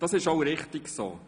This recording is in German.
Das war auch richtig so.